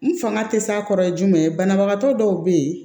N fanga tɛ s'a kɔrɔ jumɛn ye banabagatɔ dɔw bɛ yen